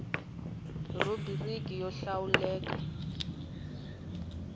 rhubiriki yo lawula rk hl